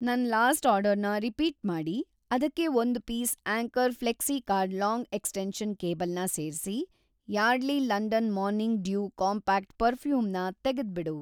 ನನ್‌ ಲಾಸ್ಟ್‌ ಆರ್ಡರ್‌ನ ರಿಪೀಟ್‌ ಮಾಡಿ, ಅದಕ್ಕೆ ಒಂದು piece Anchor Flexicord long extension cable ನ ಸೇರ್ಸಿ, Yardley London morning dew compact perfume ನ ತೆಗೆದ್ಬಿಡು.